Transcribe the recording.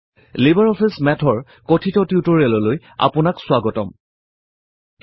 LibreOffice Math ৰ কথিত টিউটৰিয়েললৈ আপোনাক স্বাগতম জনাইছোঁ